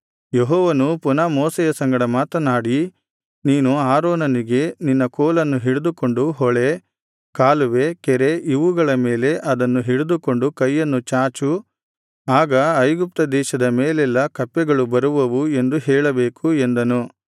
ಯೆಹೋವನು ಪುನಃ ಮೋಶೆಯ ಸಂಗಡ ಮಾತನಾಡಿ ನೀನು ಆರೋನನಿಗೆ ನಿನ್ನ ಕೋಲನ್ನು ಹಿಡಿದುಕೊಂಡು ಹೊಳೆ ಕಾಲುವೆ ಕೆರೆ ಇವುಗಳ ಮೇಲೆ ಅದನ್ನು ಹಿಡಿದುಕೊಂಡು ಕೈಯನ್ನು ಚಾಚು ಆಗ ಐಗುಪ್ತ ದೇಶದ ಮೇಲೆಲ್ಲಾ ಕಪ್ಪೆಗಳು ಬರುವವು ಎಂದು ಹೇಳಬೇಕು ಎಂದನು